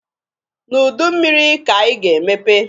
N'udu mmịrị ka anyị ga-emepe.